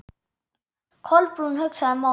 Kolbrún hugsaði málið.